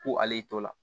Ko ale y'i to la